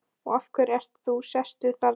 Og af hverju ert þú sestur þarna?